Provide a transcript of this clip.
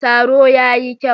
Taro ya yi kyau.